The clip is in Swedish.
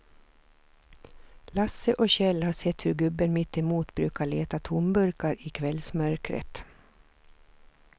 Lasse och Kjell har sett hur gubben mittemot brukar leta tomburkar i kvällsmörkret.